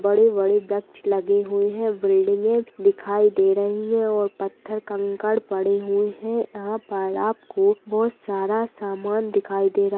बड़े-बड़े वृक्ष लगें हुए है बिल्डिंगें दिखाई दे रही है और पत्थर कंकड़ पड़े हुए हैं यहाँ पर आपको आपको बहोत सारा सामान दिखाई दे रहा --